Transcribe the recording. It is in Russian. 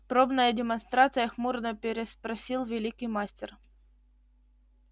пробная демонстрация хмуро переспросил великий мастер